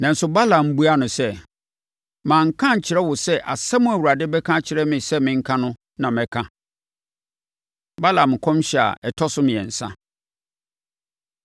Nanso Balaam buaa no sɛ, “Manka ankyerɛ wo sɛ asɛm a Awurade bɛka akyerɛ me sɛ menka no na mɛka?” Balaam Nkɔmhyɛ A Ɛtɔ So Mmiɛnsa